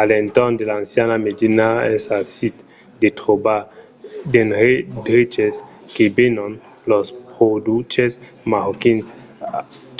a l’entorn de l’anciana medina es aisit de trobar d’endreches que venon los produches marroquins